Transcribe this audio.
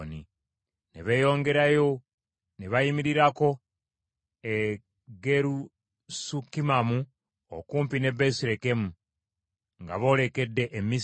Ne beeyongerayo ne bayimirirako e Gerusukimamu okumpi ne Besirekemu, nga boolekedde e Misiri,